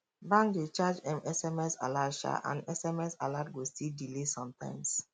bank dey charge um sms alert um and sms alert go still delay sometimes